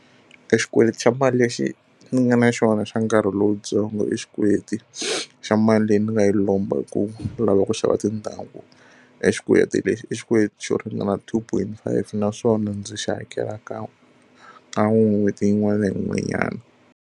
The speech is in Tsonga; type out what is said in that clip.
Exikweleti xa mali lexi ni nga na xona xa nkarhi lowuntsongo i xikweleti xa mali leyi ni nga yi lomba hi ku lava ku xava tindhawu. Exikweleti lexi i xikweleti xo ringana two point five naswona ndzi xi hakela kan'we kan'we n'hweti yin'wana na yin'wanyana.